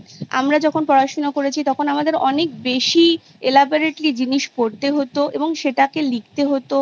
আমরা যখন পড়াশুনো করেছি তখন আমাদের অনেক বেশি Elaborately জিনিস পড়তে হতো এবং সেটাকে লিখতে হতো